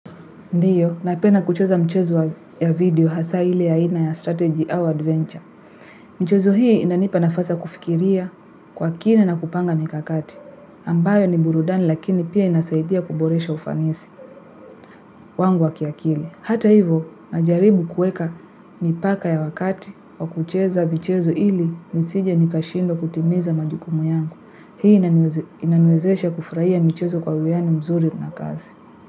Ndio, napena kucheza mchezo ya video hasa ile aina ya strategy au adventure. Michezo hii inanipa nafasi ya kufikiria kwa kina na kupanga mikakati. Ambayo ni burudani lakini pia inasaidia kuboresha ufanisi wangu wa kiakili. Hata hivyo, najaribu kuweka mipaka ya wakati wa kucheza mchezo ili nisije nikashindwa kutimiza majukumu yangu. Hii inaniwezesha kufurahia michezo kwa uleani mzuri na kazi.